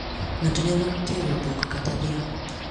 Ng`ato nyalo tero dhok kata dhiang`.